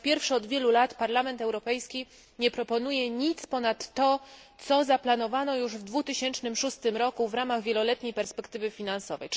Po raz pierwszy od wielu lat Parlament Europejski nie proponuje nic ponad to, co zaplanowano już w 2006 roku w ramach wieloletniej perspektywy finansowej.